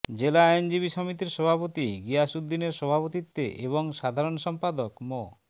জেলা আইনজীবী সমিতির সভাপতি গিয়াস উদ্দিনের সভাপতিত্বে এবং সাধারণ সম্পাদক মো